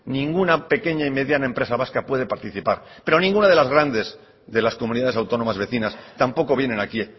ninguna pequeña y mediana empresa vasca puede participar pero ninguna de las grandes de las comunidades autónomas vecinas tampoco vienen aquí